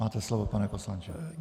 Máte slovo, pane poslanče.